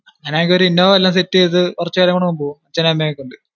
അങ്ങിനെ എങ്കിൽ ഒരു ഇന്നോവ വല്ലോം സെറ്റ് ചെയ്തു കുറച്ചു പേരെ കൊണ്ട് പോ അച്ഛനും അമ്മയും ഒക്കെ കൊണ്ട്